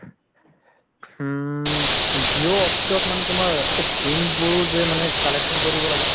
উম Jio office ত মানে তুমাৰ এই SIM বোৰ যে collection কৰিব লাগে